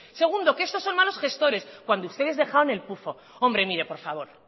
segundo que estos son malos gestores cuando ustedes dejaron el pufo hombre mire por favor